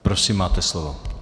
Prosím, máte slovo.